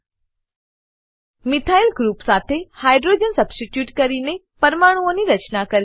methyl group methyl group સાથે hydrogen hydrogen substitute કરીને પરમાણુઓની રચના કરવી